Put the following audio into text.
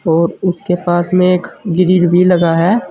और उसके पास में एक ग्रिल भी लगा है।